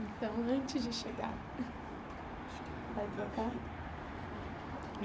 Então, antes de chegar... Vai trocar?